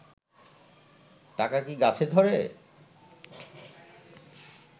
টাকা কি গাছে ধরে?